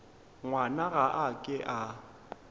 ngwana ga a ke a